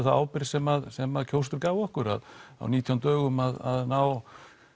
þá ábyrgð sem sem kjósendur gáfu okkur á nítján dögum að ná